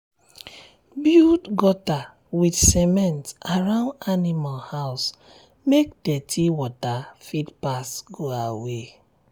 um build gutter with cement around animal house make dirty water fit pass go away.